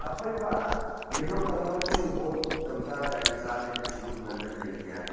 aphai ma yellow colour ma chu board tamta jari ja lele chu ngan le tai tai a.